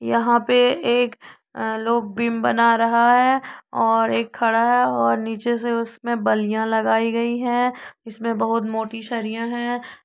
यहाँ पे एक लोग अ बिम बना रहा है और एक खड़ा है नीचे से उसमे बल्लियां लगाई गई है इसमे बहुत मोती सरिया है।